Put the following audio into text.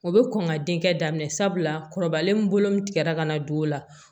O bɛ kɔn ka denkɛ daminɛ sabula kɔrɔbalen min bolon min tigɛra ka na don o la